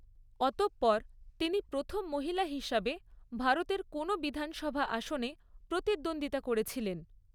অতঃপর তিনি প্রথম মহিলা হিসাবে ভারতের কোনও বিধানসভা আসনে প্রতিদ্বন্দ্বিতা করেছিলেন।